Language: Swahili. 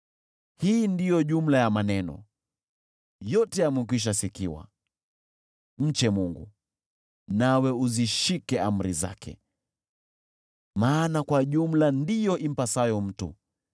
Hii ndiyo jumla ya maneno; yote yamekwisha sikiwa: Mche Mungu, nawe uzishike amri zake, maana kwa jumla ndiyo impasayo mtu.